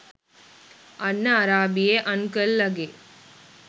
අන්න අරාබියේ අන්කල් ලගේ